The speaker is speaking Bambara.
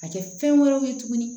A kɛ fɛn wɛrɛw ye tuguni